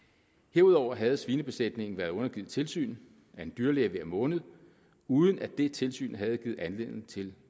herudover havde svinebesætningen været undergivet tilsyn af en dyrlæge hver måned uden at det tilsyn havde givet anledning til